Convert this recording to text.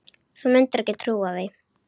Þú mundir ekki trúa því.